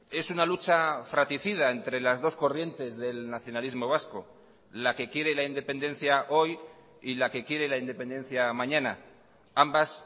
es una lucha fraticida entre las dos corrientes del nacionalismo vasco la que quiere la independencia hoy y la que quiere la independencia mañana ambas